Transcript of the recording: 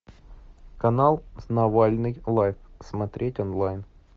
канал навальный лайв смотреть онлайн